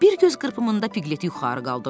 Bir göz qırpımında Pqleti yuxarı qaldırdılar.